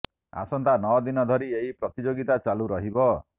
ଆସନ୍ତା ନଅ ଦିନ ଧରି ଏହି ପ୍ରତିଯୋଗିତା ଚାଲୁ ରହିବ